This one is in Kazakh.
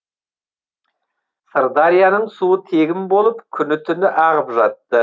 сырдарияның суы тегін болып күні түні ағып жатты